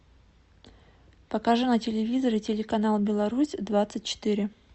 покажи на телевизоре телеканал беларусь двадцать четыре